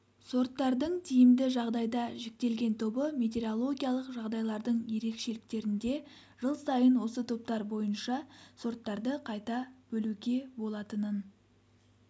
сорттардың тиімді жағдайда жіктелген тобы метеорологиялық жағдайлардың ерекшеліктерінде жыл сайын осы топтар бойынша сорттарды қайта бөлуге болатынын